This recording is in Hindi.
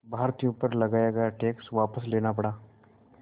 भारतीयों पर लगाया गया टैक्स वापस लेना पड़ा